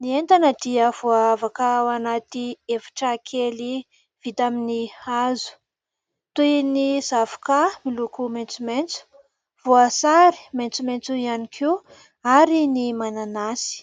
Ny entana dia voavaka ao anaty efitra kely vita amin'ny hazo toy : ny zavoka miloko maitsomaitso, voasary maitsomaitso ihany koa ary ny mananasy.